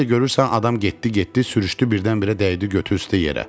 Bir də görürsən adam getdi, getdi, sürüşdü birdən-birə dəydi götü üstə yerə.